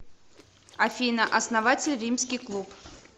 афина основатель римский клуб